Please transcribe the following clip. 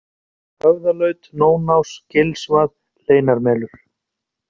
Höfðalaut, Nónás, Gilsvað, Hleinarmelur